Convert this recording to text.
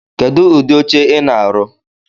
Kedu udi oche I na-arụ̣?